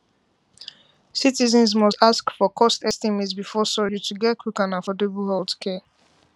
citizens must ask for cost estimate before surgery to get quick and affordable healthcare